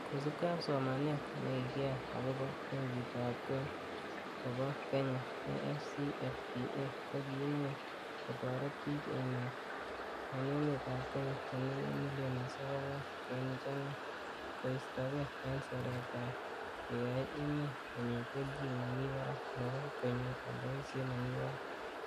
Kosiibge ak somanet nekikiyai agobo benkitab kwen nebo Kenya, AfCFTA, koimuch kotoret bik emet en emetab kenya chenekit milionisiek angwan kenuch angwan, koistoge en seretet koyoe emet konyor kelchin nemi barak nebo konyor oldoisiet nemi barak.